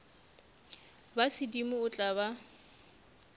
ba sedimo o tla ba